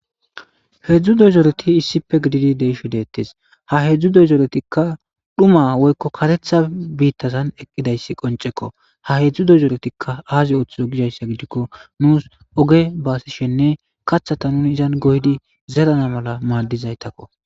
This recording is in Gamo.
heedzdzu dozooreti issife gididi deisho deettes ha hedzdzu dozoretikka dhuma woykko katetha biittazan eqqidayssi qoncekko ha hedzdzu dozooretikka aazi ooththizo gizayssa gidikko nuus oge baasishenne kathata nuni izan goydi zerana mala maaddizaytakko